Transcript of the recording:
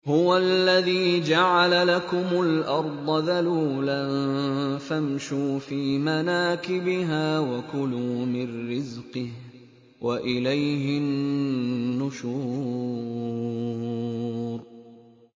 هُوَ الَّذِي جَعَلَ لَكُمُ الْأَرْضَ ذَلُولًا فَامْشُوا فِي مَنَاكِبِهَا وَكُلُوا مِن رِّزْقِهِ ۖ وَإِلَيْهِ النُّشُورُ